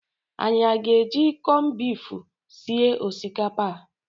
Anyị aga-eji kọnbifu sie osikapa a?